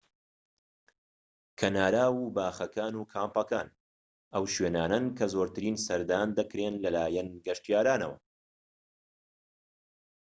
کەناراو و باخەکان و کامپەکان ئەو شوێنانەن کە زۆرترین سەردان دەکرێن لەلایەن گەشتیارانەوە